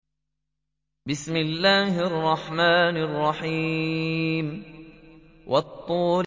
وَالطُّورِ